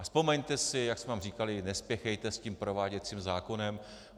A vzpomeňte si, jak jsme vám říkali: nespěchejte s tím prováděcím zákonem.